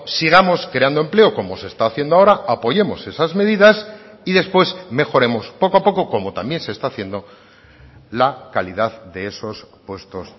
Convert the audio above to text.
sigamos creando empleo como se está haciendo ahora apoyemos esas medidas y después mejoremos poco a poco como también se está haciendo la calidad de esos puestos